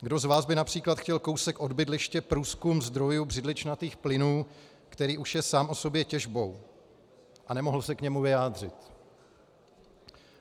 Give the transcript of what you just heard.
Kdo z vás by například chtěl kousek od bydliště průzkum zdrojů břidličnatých plynů, který už je sám o sobě těžbou, a nemohl se k němu vyjádřit?